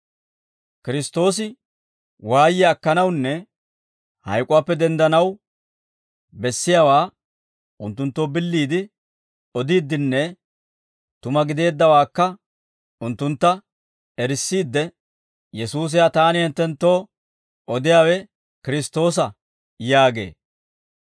Kiristtoosi waayiyaa akkanawunne hayk'uwaappe denddanaw bessiyaawaa unttunttoo billiide odiiddinne tuma gideeddawaakka unttuntta erissiidde, «Yesuusi ha taani hinttenttoo odiyaawe Kiristtoosa» yaagee.